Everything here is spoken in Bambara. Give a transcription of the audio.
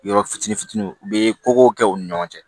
Yɔrɔ fitinin fitiniw u be koko kɛ u ni ɲɔgɔn cɛ